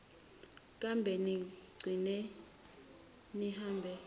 kambe nigcine nihambe